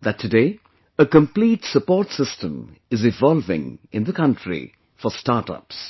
that today a complete support system is evolving in the country for startups